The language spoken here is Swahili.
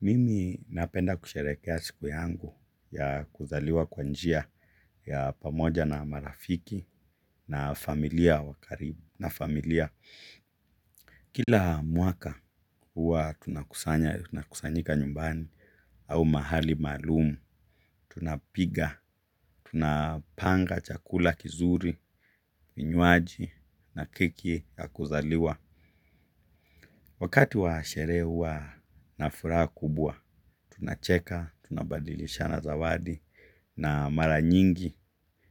Mimi napenda kusherehekea siku yangu ya kuzaliwa kwa njia ya pamoja na marafiki na familia wakarib na familia. Kila mwaka huwa tunakusanya tunakusanyika nyumbani au mahali maluum. Tunapiga, tunapanga chakula kizuri, vinywaji na keki ya kuzaliwa. Wakati wa sherehe huwa na furaha kubwa, tunacheka, tunabadilisha zawadi na mara nyingi,